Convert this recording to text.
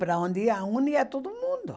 Para onde ia um, ia todo mundo.